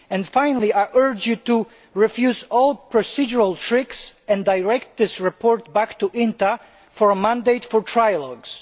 Finally, I urge you to refuse all procedural tricks and direct this report back to INTA for mandate for trilogues.